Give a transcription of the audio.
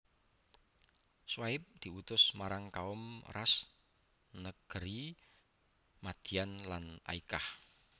Syuaib diutus marang Kaum Rass negeri Madyan lan Aykah